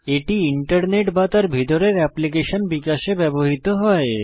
এটি ইন্টারনেট বা তার ভিতরের এপ্লিকেশন বিকাশে ব্যবহৃত হয়